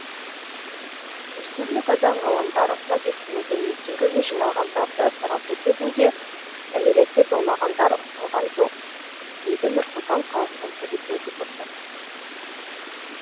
республика даңғылында рұқсат етілмеген митингіге жиналғандарды тарату кезінде кәмелетке толмағандар ұсталған жоқ дейді нұр сұлтан қаласының полиция департаменті